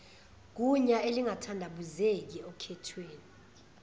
gunya elingathandabuzeki okhethweni